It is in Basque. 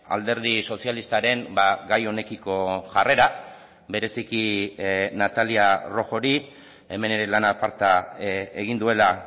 alderdi sozialistaren gai honekiko jarrera bereziki natalia rojori hemen ere lan aparta egin duela